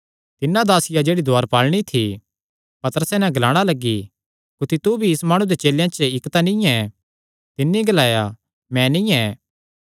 तिन्नै दासिया जेह्ड़ी दुआरपालिनी थी पतरसे नैं ग्लाणा लग्गी कुत्थी तू भी इस माणु दे चेलेयां च इक्क तां नीं ऐ तिन्नी ग्लाया मैं नीं ऐ